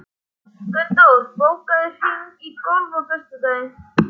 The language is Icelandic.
Gunndór, bókaðu hring í golf á föstudaginn.